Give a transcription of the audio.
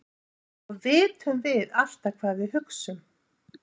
og vitum við alltaf hvað við hugsum